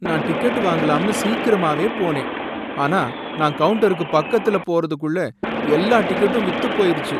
நான் டிக்கெட் வாங்கலாம்னு சீக்கிரமாவே போனேன், ஆனா நான் கவுன்ட்டர் பக்கத்துல போறதுக்குள்ள எல்லா டிக்கெட்டும் வித்து போயிருச்சு.